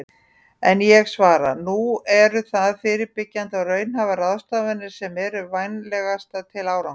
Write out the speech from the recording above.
En ég svara: Nú eru það fyrirbyggjandi og raunhæfar ráðstafanir sem eru vænlegastar til árangurs.